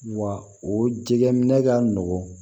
Wa o jɛgɛminɛ ka nɔgɔn